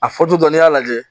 A fɔ tɔ n'i y'a lajɛ